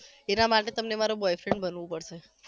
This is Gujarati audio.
એના માટે તમને મારો boyfriend બનવુ પડશે